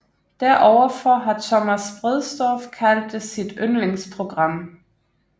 Deroverfor har Thomas Bredsdorff kaldt det sit yndlingsprogram